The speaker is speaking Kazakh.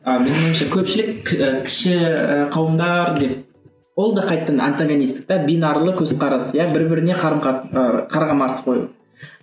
а менің ойымша көпшілік ііі кіші қауымдар деп ол да қайтадан антогонистікті бинарлы көзқарас иә бір біріне ы қарама қарсы қойылды